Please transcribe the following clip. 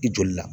I joli la